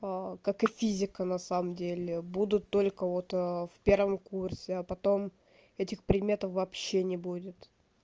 как и физика на самом деле будут только вот в первом курсе а потом этих предметов вообще не будет